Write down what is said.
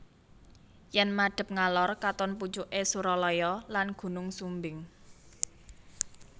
Yen madhep ngalor katon pucuke Suralaya lan Gunung Sumbing